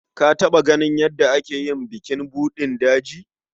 Ka taɓa ganin yadda ake yi bukin buɗin daji?